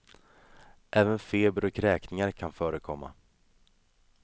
Även feber och kräkningar kan förekomma.